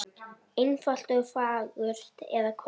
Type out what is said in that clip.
Einfalt og fagurt, eða hvað?